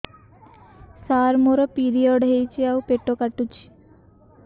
ସାର ମୋର ପିରିଅଡ଼ ହେଇଚି ଆଉ ପେଟ କାଟୁଛି